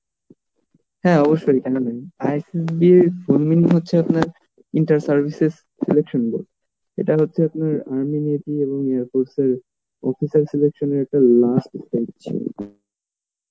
হ্যাঁ অবশ্যই কেন ISSB র full meaning হচ্ছে আপনার inter services selection board এটা হচ্ছে আপনার officer selection এর last stage